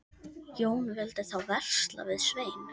Jón vildi þá versla við Svein.